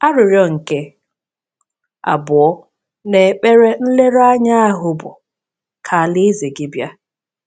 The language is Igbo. Arịrịọ nke abụọ n’ekpere nlereanya ahụ bụ: “Ka alaeze gị bịa.”